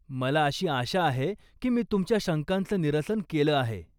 मला अशी आशा आहे की मी तुमच्या शंकांचं निरसन केलं आहे.